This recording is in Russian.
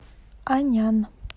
анян